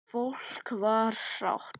Fólk var sátt.